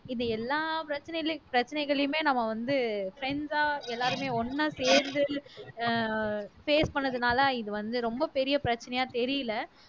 இது எல்லா பிரச்சனையி பிரச்சனைகளையுமே நம்ம வந்து friends ஆ எல்லாருமே ஒண்ணா சேர்ந்து ஆஹ் face பண்ணதுனால இது வந்து ரொம்ப பெரிய பிரச்சனையா தெரியல